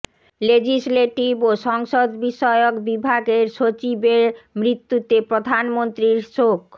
legislative ও সংসদ বিষয়ক বিভাগের সচিবের মৃত্যুতে প্রধানমন্ত্রীর শোক